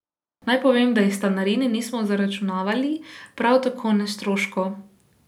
Naj povem, da ji stanarine nismo zaračunavali, prav tako ne stroškov.